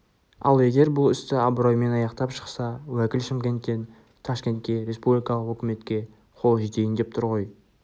ал егер бұл істі абыроймен аяқтап шықса уәкіл шымкенттен ташкентке республикалық өкіметке қолы жетейін деп тұр ғой